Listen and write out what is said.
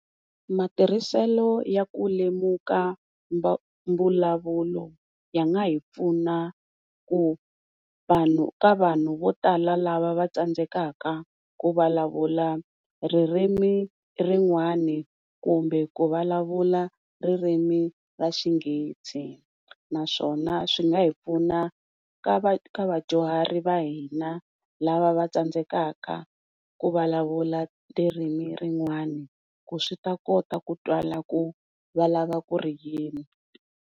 Matirhiselo ya ku lemuka mbulavulo ya nga hi pfuna ku ka vanhu vo tala lava va tsandzekaka ku vulavula ririmi rin'wani kumbe ku vulavula ririmi ra xinghezi, naswona swi nga hi pfuna ka vadyuhari va hina lava va tsandzekaka ku vulavula tindzimi tin'wana ku swi ta kota ku twala ku va ri yini.